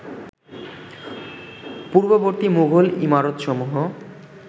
পূর্ববর্তী মুঘল ইমারতসমূহ